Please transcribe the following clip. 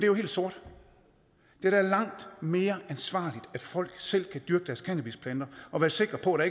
jo helt sort det er da langt mere ansvarligt at folk selv kan dyrke deres cannabisplanter og være sikre på at